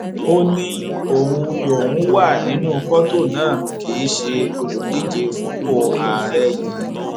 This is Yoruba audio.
ó ní òun lòún wà nínú fọtò náà kì í ṣe olùdíje fúnpọ àárẹ yìí